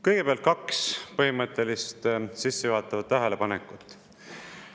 Kõigepealt kaks põhimõttelist, sissejuhatavat tähelepanekut.